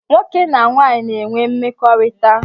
Nwoke na nwanyị na-enwe mmekọrịta